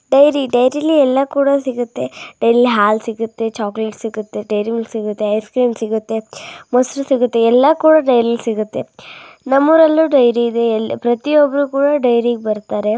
Dairy ಡೈರಿಲಿ ಎಲ್ಲ ಕೂಡ ಸಿಗುತ್ತೆ ಡೈರಿಲಿ ಹಾಲ್ ಸಿಗುತ್ತೆ ಚಾಕ್ಲೆಟ್ ಸಿಗತ್ತೆ ಹಾಲ್ ಸಿಗತ್ತೆ ಡೈರಿಮಿಲ್ಕ್ ಸಿಗತ್ತೆ ಮೋಸರ್ ಸಿಗತ್ತೆ ಎಲ್ಲ ಕೂಡ ಡೈರಿಲಿ ಸಿಗತ್ತೆ ನಮ್ಮೋರಲ್ಲೂ ಡೈರಿ ಇದೆ ಪ್ರತಿಯೊಬ್ಬರು ಡೈರಿಗೆ ಬರ್ತಾರೆ .